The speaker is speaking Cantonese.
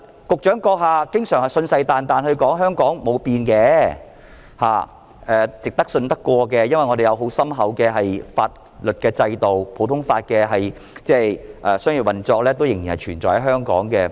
局長閣下經常信誓旦旦的說香港沒有變，是值得信任的，因為本港有很深厚的法律制度，普通法的商業運作仍然存在。